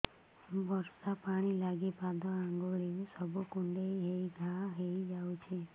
ବର୍ଷା ପାଣି ଲାଗି ପାଦ ଅଙ୍ଗୁଳି ସବୁ କୁଣ୍ଡେଇ ହେଇ ଘା ହୋଇଯାଉଛି